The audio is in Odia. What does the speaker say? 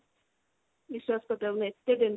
ବିଶ୍ବାସ କର ମୁଁ ଏତେ tension